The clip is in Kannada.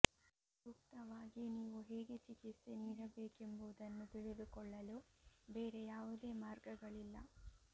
ಸೂಕ್ತವಾಗಿ ನೀವು ಹೇಗೆ ಚಿಕಿತ್ಸೆ ನೀಡಬೇಕೆಂಬುದನ್ನು ತಿಳಿದುಕೊಳ್ಳಲು ಬೇರೆ ಯಾವುದೇ ಮಾರ್ಗಗಳಿಲ್ಲ